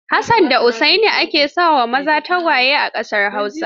Hassan da Usaini ake sa wa maza tagwaye a ƙasar Hausa.